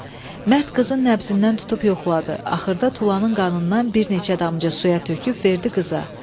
Mərd qızın nəbzindən tutub yoxladı, axırda tulanın qanından bir neçə damcı suya töküb verdi qıza.